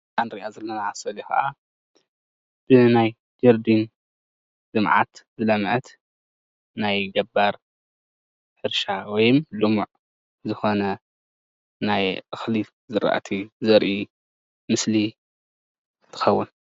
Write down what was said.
እታ ንሪኣ ዘለና ስእሊ ከዓ ኣብዚ ናይ ጀርዲን ልምዓት ዝለመዐት ናይ ገባር ሕርሻ ወይ ልሙዕ ዝኮነ ናይ እክሊ ዝራእቲ ዘርኢ ምስሊ ትከዉን።